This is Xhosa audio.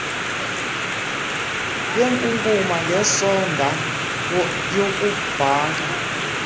yenkunkuma ngesoda yokubhaka